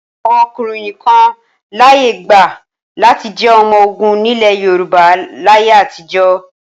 Àwọn ọkùnrin nìkan láyé gbà láti jẹ́ ọmọ ogun nílẹ̀ Yorùbá láyé àtijọ́.